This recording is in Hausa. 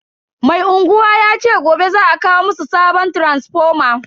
Mai unguwa yace gobe za a kawo musu sabon taransifoma.